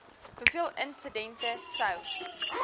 hoeveel insidente sou